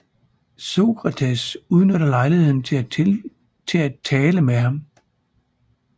Sokrates udnytter lejligheden til at tale med ham